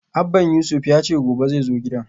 Abban Yusuf yace gobe xai zo gidan